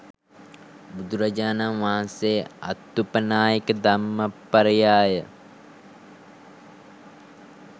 බුදුරජාණන් වහන්සේ අත්තුපනායික ධම්මපරියාය